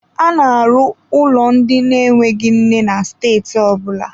A na-arụ ụlọ ndị na-enweghị nne na steeti ọ bụla.